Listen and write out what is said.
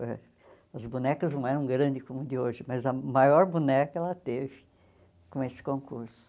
Ãh as bonecas não eram grandes como de hoje, mas a maior boneca ela teve com esse concurso.